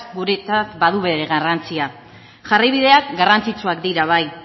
guretzat badu bere garrantzia jarraibideak garrantzitsuak dira bai